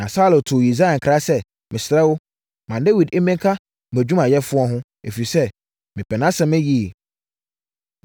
Na Saulo too Yisai nkra sɛ, “Mesrɛ wo, ma Dawid mmɛka mʼadwumayɛfoɔ ho, ɛfiri sɛ, mepɛ nʼasɛm yie.”